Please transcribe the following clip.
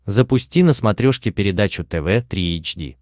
запусти на смотрешке передачу тв три эйч ди